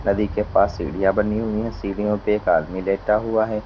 नदी के पास सीढ़ियां बनी हुई हैं। सीढ़ियां पे एक आदमी लेटा हुआ है।